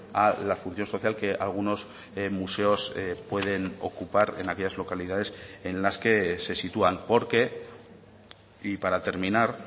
a la función social que algunos museos pueden ocupar en aquellas localidades en las que se sitúan porque y para terminar